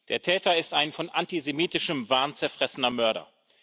Der Täter ist ein von antisemitischem Wahn zerfressener Mörder.